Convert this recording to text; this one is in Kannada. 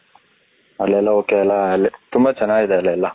ಅಲ್ಲಿ ಎಲ್ಲ ok ಅಲ್ಲ ತುಂಬಾ ಚೆನ್ನಾಗಿದ ಇದೆ ಅಲ್ಲಿ ಎಲ್ಲ .